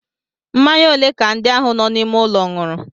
Mmanya ole ka ndị ahụ nọ n'ime ụlọ ṅụrụ?